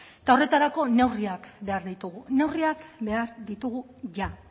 eta horretarako neurriak behar ditugu neurriak behar ditugu ja